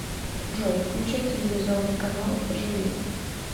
джой включай телевизионный канал живи